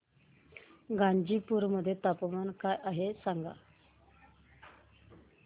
गाझीपुर मध्ये तापमान काय आहे सांगा